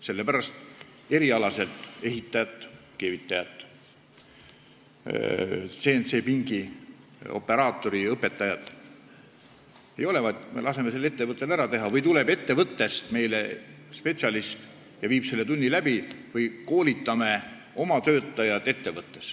Sellepärast, et kui ehitaja, keevitaja, CNC-pingi operaatori eriala õpetajat ei ole, siis me laseme selle töö ettevõttel ära teha või tuleb ettevõttest meile spetsialist ja viib selle tunni läbi või me koolitame oma töötajaid ettevõttes.